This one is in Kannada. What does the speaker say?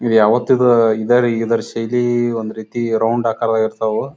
ಇವು ಯಾವತಿಗೂ ಇದಾವೆ ಇದರ ಶೈಲಿ ಒಂದು ರೀತಿ ರೌಂಡ್ ಆಕಾರದಾಗ ಇರ್ತವು.